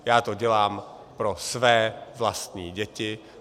Já to dělám pro své vlastní děti.